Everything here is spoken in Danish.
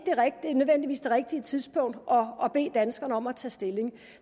rigtige tidspunkt at bede danskerne om at tage stilling